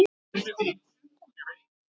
Hvað táknar það?